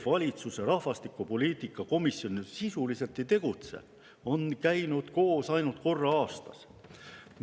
Valitsuse rahvastikupoliitika komisjon aga sisuliselt ei tegutse, see on koos käinud ainult korra aastas.